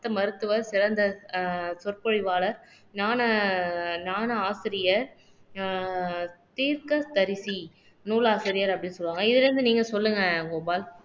சித்த மருத்துவர் சிறந்த அஹ் சொற்பொழிவாளர் ஞான ஞான ஆசிரியர் அஹ் தீர்க்கதரிசி நூலாசிரியர் அப்படின்னு சொல்லுவாங்க இதுல இருந்து நீங்க சொல்லுங்க கோபால்